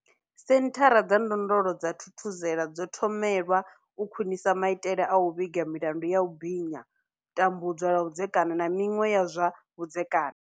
Senthara dza ndondolo dza Thuthuzela dzo thomelwa u khwinisa maitele a u vhiga milandu ya u binya, tambudzwa lwa vhudzekani, na miṅwe ya zwa vhudzekani.